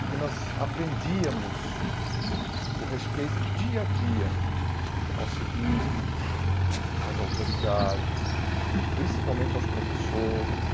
Porque nós aprendíamos o respeito dia a dia ao civismo, às autoridades, principalmente aos professores,